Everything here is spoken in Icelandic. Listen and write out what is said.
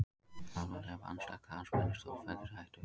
Alvarleg vanræksla andspænis stórfelldri hættu